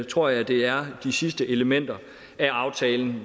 tror jeg det er de sidste elementer af aftalen